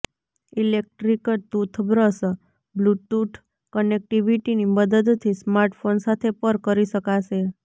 electric toothbrush bluetooth ક્નેક્ટિવિટીની મદદથી smartphone સાથે પર કરી શકાશે